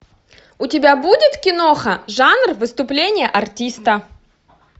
у тебя будет киноха жанр выступление артиста